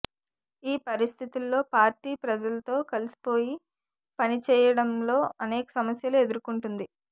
ఈ పరిస్థితుల్లో పార్టీ ప్రజలతో కలిసిపోయి పని చేయడంలో అనేక సమస్యలు ఎదుర్కొంటుంది